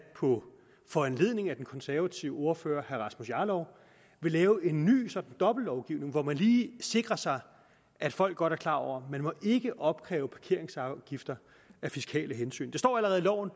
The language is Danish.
på foranledning af den konservative ordfører herre rasmus jarlov vil lave en ny sådan dobbeltlovgivning hvor man lige sikrer sig at folk godt er klar over at man ikke må opkræve parkeringsafgifter af fiskale hensyn det står allerede i loven